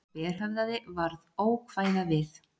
Sá berhöfðaði varð ókvæða við.